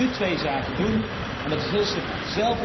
Wij moeten nu twee zaken doen en dat is heel simpel.